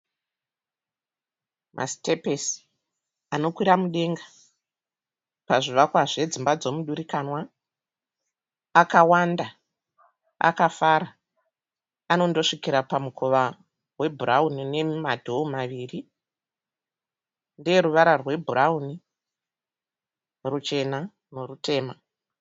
Masitepisi anokwira mudenga pazvivakwa zvedzimba dzomudurikanwa. Akawanda akafara anondosvikira pamukova webhurawuni nemadhoo maviri. Ndeeruvara rwebhurawuni, ruchena nerutema.